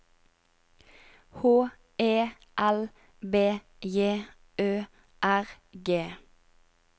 H E L B J Ø R G